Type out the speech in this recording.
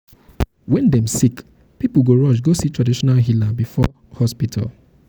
wen dem sick pipo go rush go see traditional healer before hospital.